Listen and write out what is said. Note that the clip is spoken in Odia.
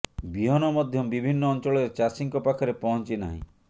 ବିହନ ମଧ୍ୟ ବିଭିନ୍ନ ଅଞ୍ଚଳରେ ଚାଷୀଙ୍କ ପାଖରେ ପହଞ୍ଚି ନାହିଁ